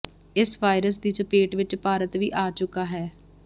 ਇਸ ਵਾਇਰਸ ਦੀ ਚਪੇਟ ਵਿਚ ਭਾਰਤ ਵੀ ਆ ਚੁੱਕਾ ਹੈ